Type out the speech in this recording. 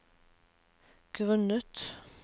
grunnet